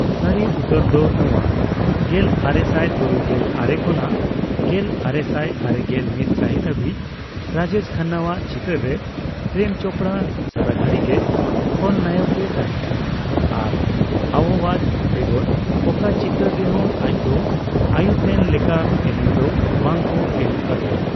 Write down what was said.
ᱥᱟᱨᱤ ᱩᱛᱟᱹᱨ ᱫᱚ ᱱᱚᱣᱟ, ᱜᱮᱞ ᱟᱨᱮᱥᱟᱭ ᱛᱩᱨᱩᱭᱜᱮᱞ ᱟᱨᱮ ᱠᱷᱚᱱᱟᱜ ᱜᱮᱞ ᱟᱨᱮᱥᱟᱭ ᱟᱨᱮᱜᱮᱞ ᱢᱤᱛ ᱥᱟᱦᱤᱛ ᱦᱟᱹᱵᱤᱡ ᱨᱟᱡᱮᱥ ᱠᱷᱟᱱᱱᱟᱣᱟᱜ ᱪᱤᱛᱟᱹᱨ ᱨᱮ, ᱯᱨᱮᱢ ᱪᱳᱯᱲᱟ ᱥᱟᱨᱟᱜᱷᱟᱲᱤ ᱜᱮ ᱠᱷᱚᱞ ᱱᱟᱭᱚᱠ ᱮ ᱛᱟᱦᱮᱸ ᱠᱟᱱᱟ ᱟᱨ ᱟᱣᱳᱣᱟᱡᱽ ᱵᱮᱜᱚᱨ ᱚᱠᱟ ᱪᱤᱛᱟᱹᱨ ᱨᱮᱦᱚᱸ ᱟᱡᱫᱚ ᱟᱭᱩᱨᱛᱮᱱ ᱞᱮᱠᱟ ᱮᱱᱮᱢ ᱫᱚ ᱵᱟᱝ ᱠᱚ ᱮᱢ ᱠᱟᱣᱫᱮᱭᱟ ᱾